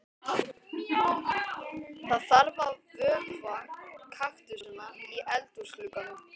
Það þarf að vökva kaktusana í eldhúsglugganum.